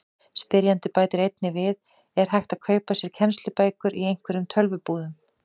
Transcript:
Spyrjandi bætir einnig við: Er hægt að kaupa sér kennslubækur í einhverjum tölvubúðum?